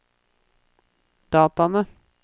dataene